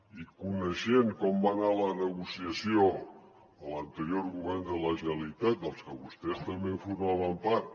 i coneixent com va anar la negociació a l’anterior govern de la generalitat del que vostès també en formaven part